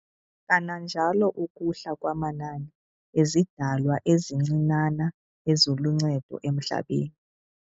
Kananjalo ukuhla kwamanani ezidalwa ezincinanana eziluncedo emhlabeni.